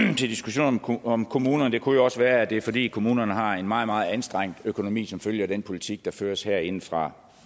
til diskussionen om kommunerne det kunne jo også være at det er fordi kommunerne har en meget meget anstrengt økonomi som følge af den politik der føres herindefra